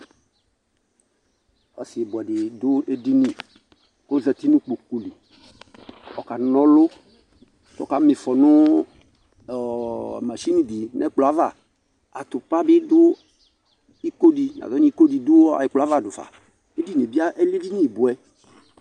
Ɔsibuɛdi du edini kɔzati nu kpokuli kɔkanɔlu ɔkamifɔ nu machini di nɛkplɔ ava Nazɔnu ikodi du ɛkplɔava dufa Ediniyɛ bi lɛ edini buɛ